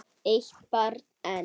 Eitt barn enn?